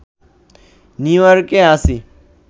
নিউইয়র্কে আছি